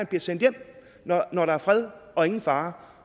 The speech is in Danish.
bliver sendt hjem når der er fred og ingen fare